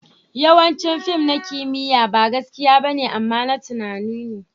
Yawancin fim na kimiyya ba gaskiya ba ne, amma na tunani ne.